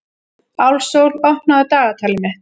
Álfsól, opnaðu dagatalið mitt.